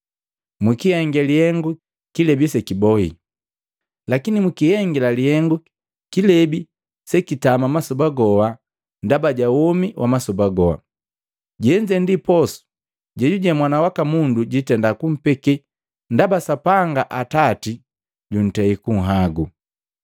Mwakihenge lihengu kilebi sekibohi, lakini mukihengila lihengu kilebi sekitama masoba goha ndaba ja womi wa masoba goha. Jenze ndi posu jejuje Mwana waka Mundu jitenda kumpeke, ndaba Sapanga, Atati jutei kunhagu.”